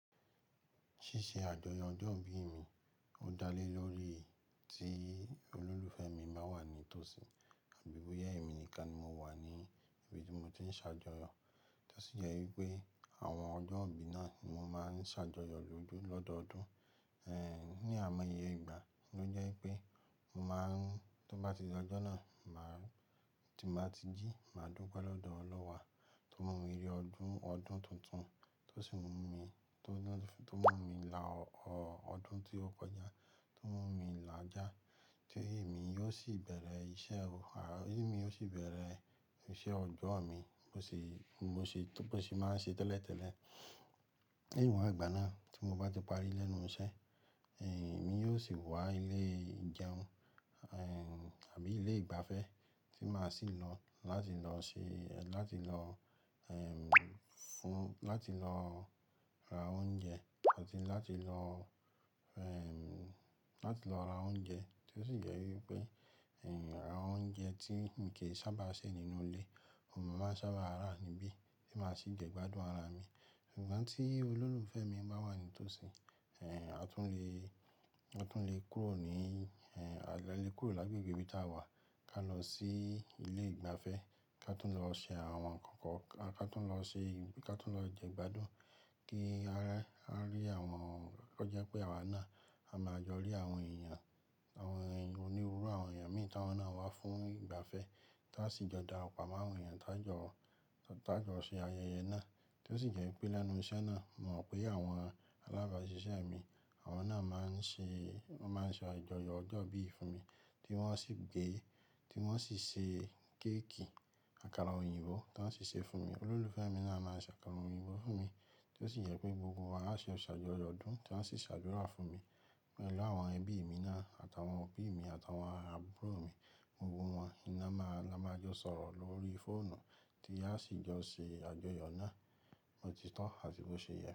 Ṣíṣe àjọyọ̀ ọjọ́ ìbí mi ó dá lé lórí tí olólùfẹ́ mi bá wà ní tòsí àbí bóyá èmi nìkan ni mo wà ní ibi tí mo ti ń ṣàjọyọ̀. Tí ó sì yẹ wípé àwọn ọjọ́ ìbí náà ni mo máa ń ṣàjọyọ̀ lójú lọ́dọọdún. Ehn, ní àìmọ́ iyè ìgbà, ló jẹ́ í pé mo máa ń tó bá ti d’ọjọ́ náà, tí mbá ti jí, màá dúpẹ́ lọ́dọọ Olúwa tó mú mi rí ọdún ọdún tuntun tó sì mú mi, tó mú mi la ọ ọdún tí ó kọjá, tó mú mi làá já tí èmi yóò sì bẹ̀rẹ̀ iṣẹ́, èmi yóò sì bẹ̀rẹ̀ iṣẹ́ ọjọ́ mi bó ṣe, bí mo ṣe tó pé ṣé màá ń ṣe tẹ́lẹ̀tẹ́lẹ̀. Lẹ́yìn wà ìgbà náà tí mo bá ti parí lẹ́nu iṣẹ́, ehn, èmi yóò sì wá ilé ìjẹun, ehn, àbí ilé ìgbafẹ́ tí màá sì lọ láti lọ ṣe, láti lọ, ehn, fún láti lọ ra oúnjẹ àti láti lọ, ehn, láti lọ ra oúnjẹ tí ó sì jẹ wípé, ehn, ara oúnjẹ tí ǹ kí ń sábà se nínú ilé, ò n mò màá ń sábà rà níbí tí màá sì jẹ gbádùn ara mi. Ṣùgbọ́n tí olólùfẹ́ mi bá wà ní tòsí, ehn, a tún le, a tún le kúrò ní, ehn, a le kúrò lágbègbè ibi tí à wà, ká lọ sí ilé ìgbafẹ́, ká tún lọ ṣe àwọn nǹkan kan, ká tún lọ ṣe, ká tún lọ jẹ gbádùn kí a rí àwọn, tó jẹ́ pé àwa náà á máa jọ rí àwọn èèyàn, àwọn onírúurú àwọn èèyàn mìíràn táwọn náà wá fún ìgbafẹ́ tí a sì jọ dara pọ̀ máa àwọn èèyàn tá jọ, tá jọ ṣe ayẹyẹ náà tí ó sì jẹ́ wípé lẹ́nu iṣẹ́ náà mo mọ̀ pé àwọn alábàásisẹ́ mi àwọn náà máa ń ṣe, wọ́n máa ń ṣe àjọyọ̀ ọjọ́ ìbí yìí fún mi tí wọ́n ó sì gé, tí wọ́n ó sì ṣe kéékì àkàrà òyìnbó tí wọ́n ó sì ṣe fún mi. Olólùfẹ́ mi náà a máa ṣe àkàrà òyìnbó fún mi tí ó sì jẹ pé gbogbo wa á ṣe ṣàjọyọ̀ ọdún tí à wọn ó sì ṣàdúrà fún mi pẹ̀lú àwọn ẹbí mi náà àtàwọn òbí mi àtàwọn àbúrò mi gbogbo wọn. Iná máa, la máa jọ sọ̀rọ̀ lórí fóònù tí a sì jọ ṣe àjọyọ̀ náà. Bo ti tọ́ àti bó ṣe yẹ.